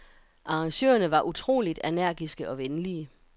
Arrangørerne var utroligt energiske og venlige.